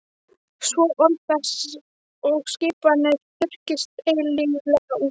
Svo orð þess og skipanir þurrkist eilíflega út.